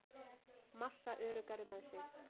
Massa öruggari með sig